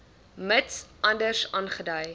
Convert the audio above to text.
mits anders aangedui